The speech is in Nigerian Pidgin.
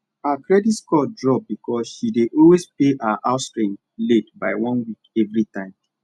her credit score drop because she dey always pay her house rent late by one week every time